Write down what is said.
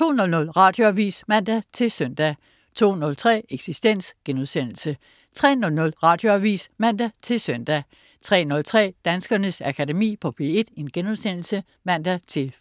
02.00 Radioavis (man-søn) 02.03 Eksistens* 03.00 Radioavis (man-søn) 03.03 Danskernes Akademi på P1* (man-fre)